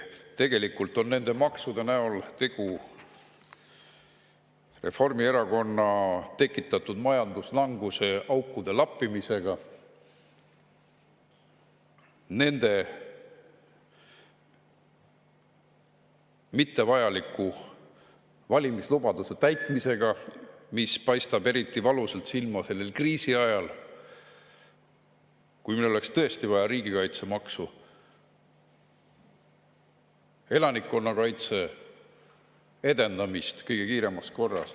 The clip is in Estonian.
Tegelikult on nende maksude näol tegu Reformierakonna tekitatud majanduslanguse aukude lappimisega, nende mittevajalike valimislubaduste täitmisega, mis paistab eriti valusalt silma kriisiajal, kui meil oleks tõesti vaja riigikaitsemaksu, elanikkonnakaitse edendamist kõige kiiremas korras.